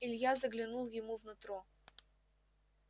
илья заглянул ему в нутро